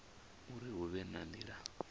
uri hu vhe na nila